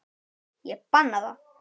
Ég banna það.